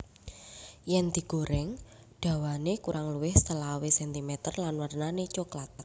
Yen digoreng dhawane kurang luwih selawe centimeter lan wernane cokelat